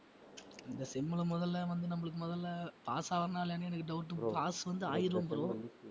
இந்த sem ல முதல்ல வந்து நம்மளுக்கு முதல்ல pass ஆவரனா இல்லையா எனக்கு doubt pass வந்து ஆயிடுவேன் bro